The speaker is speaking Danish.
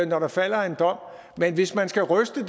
når der falder en dom men hvis man skal ryste